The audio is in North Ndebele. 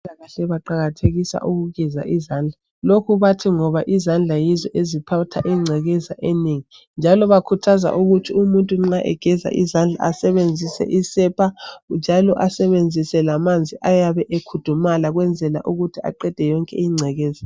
Abezempilakahle baqakathekisa ukugeza izandla. Lokhu bathi ngoba izandla yizo ezithatha ingcekeza enengi njalo bakhuthaza ukuthi umuntu nxa egeza izandla asebenzise isepa njalo asebenzise lamanzi ayabe ekhudumala ukwenzela ukuthi aqede yonke ingcekeza.